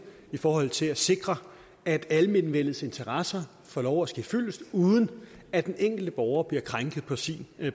i forhold til at sikre at almenvellets interesser får lov at ske fyldest uden at den enkelte borger bliver krænket på sin